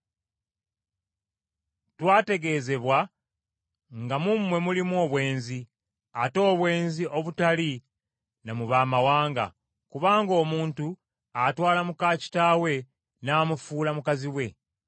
Twategeezebwa nga mu mmwe mulimu obwenzi, ate obwenzi obutali na mu baamawanga, kubanga omuntu atwala muka kitaawe n’amufuula mukazi we.